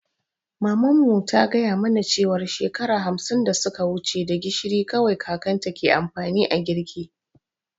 Maman mu ta gaya mana cewar shekara hamsin da suka wuci da gishiri kawai kakanta ke amfani a girki.